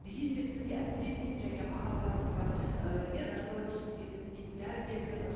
дегенмен сізге әсер еткен жәңе ағаларыңыз бар ы иә наркологическийде істейтін дәрігерлер бар